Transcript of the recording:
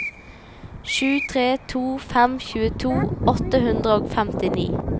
sju tre to fem tjueto åtte hundre og femtini